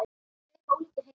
Tveir ólíkir heimar.